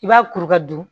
I b'a kuru ka don